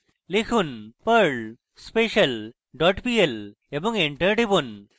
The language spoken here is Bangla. লিখুন: perl special dot pl এবং enter টিপুন